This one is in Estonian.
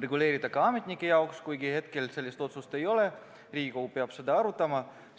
reguleerida ka ametnike jaoks, kuigi hetkel sellist otsust ei ole, Riigikogu peab seda arutama.